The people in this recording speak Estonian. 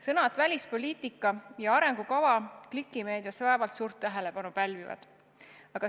Sõnad "välispoliitika" ja "arengukava" klikimeedias vaevalt suurt tähelepanu pälvivad.